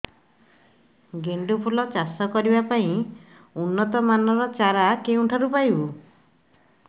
ଗେଣ୍ଡୁ ଫୁଲ ଚାଷ କରିବା ପାଇଁ ଉନ୍ନତ ମାନର ଚାରା କେଉଁଠାରୁ ପାଇବୁ